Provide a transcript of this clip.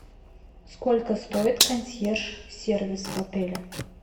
сколько стоит консьерж сервис в отеле